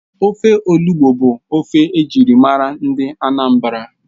Ofe Olugbu bụ ofe ejirimara ndị Anambra